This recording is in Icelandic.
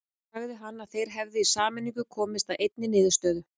Sagði hann að þeir hefðu í sameiningu komist að einni niðurstöðu.